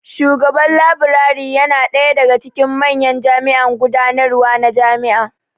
Shugaban Laburare yana ɗaya daga cikin manyan jami'an gudanarwa na jami'a